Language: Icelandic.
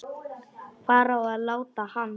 Hvar á að láta hann?